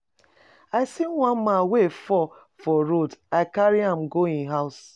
I see one man wey fall for road, I carry am go im house.